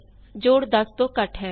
sum of A and B is 9